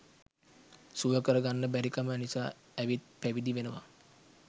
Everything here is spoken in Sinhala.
සුවකර ගන්න බැරිකම නිසා ඇවිත් පැවිදි වෙනවා.